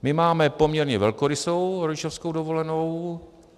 My máme poměrně velkorysou rodičovskou dovolenou.